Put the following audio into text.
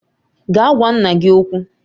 Gaa gwa nna gị okwu